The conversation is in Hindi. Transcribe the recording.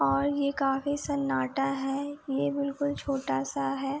और यह काफी सन्नाटा हैया बिल्कुल छोटा है।